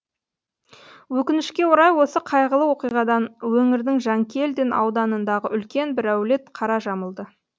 өкінішке орай осы қайғылы оқиғадан өңірдің жанкелдин ауданындағы үлкен бір әулет қара жамылды